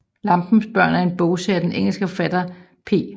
Lampens børn er en bogserie af den engelske forfatter P